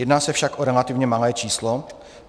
Jedná se však o relativně malé číslo.